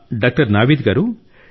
doctor Naveed గారూ